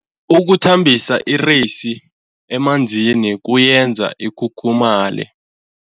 Ukuthambisa ireyisi emanzini kuyenza ikhukhumaye.